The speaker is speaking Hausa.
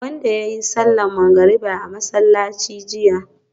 wanda yayi sallar magrib a masallaci jiya